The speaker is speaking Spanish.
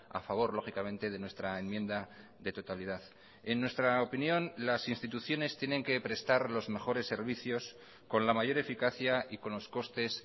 a favor lógicamente de nuestra enmienda de totalidad en nuestra opinión las instituciones tienen que prestar los mejores servicios con la mayor eficacia y con los costes